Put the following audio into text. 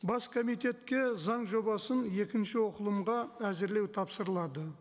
бас комитетке заң жобасын екінші оқылымға әзірлеу тапсырылады